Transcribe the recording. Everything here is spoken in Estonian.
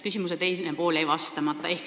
Küsimuse teine pool jäi vastamata.